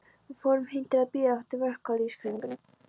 Við fórum heim til að bíða eftir verkalýðshreyfingunni.